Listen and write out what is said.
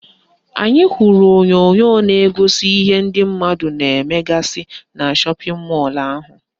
Anyị hụrụ onyonyo na-egosi ihe ndị mmadụ na-emegasị na shọpịn mọlụ ahụ